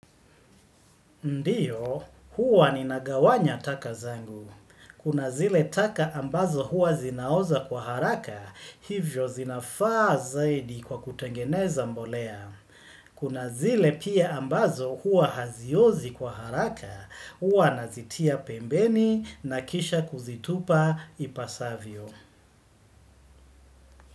Ndiyo, huwa ninagawanya taka zangu. Kuna zile taka ambazo huwa zinaoza kwa haraka, hivyo zinafaa zaidi kwa kutengeneza mbolea. Kuna zile pia ambazo huwa haziozi kwa haraka, huwa nazitia pembeni na kisha kuzitupa ipasavyo.